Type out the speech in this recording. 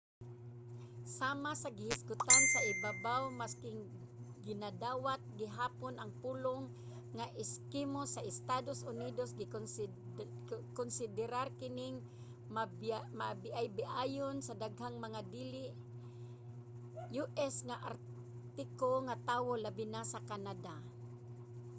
sama sa gihisgotan sa ibabaw masking ginadawat gihapon ang pulong nga eskimo sa estados unidos gikonsiderar kining mabiaybiayon sa daghang mga dili u.s. nga artiko nga tawo labi na sa canada